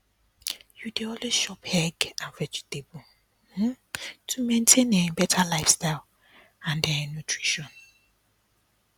you dey always chop egg and vegetable um to maintain um better lifestyle and um nutrition